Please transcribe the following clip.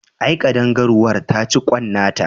Ae, ƙadangaruwar ta ci kwan nata